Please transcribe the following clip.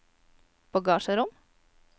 bagasjerom